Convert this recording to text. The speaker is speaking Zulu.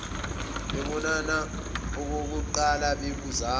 bebonana okokuqala bebuzana